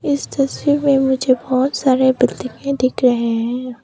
इस तस्वीर में मुझे बहोत सारे बिल्डिंगे दिख रहे हैं।